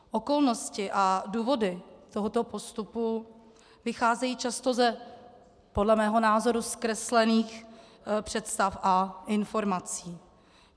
Okolnosti a důvody tohoto postupu vycházejí často z podle mého názoru zkreslených představ a informací.